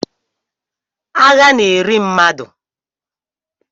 Agha na-eri mmadụ